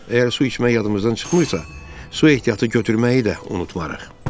Əgər su içmək yadımızdan çıxmırsa, su ehtiyatı götürməyi də unutmarıq.